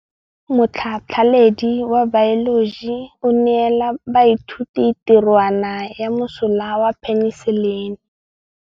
Motlhatlhaledi wa baeloji o neela baithuti tirwana ya mosola wa peniselene.